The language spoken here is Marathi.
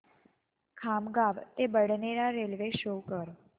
खामगाव ते बडनेरा रेल्वे शो कर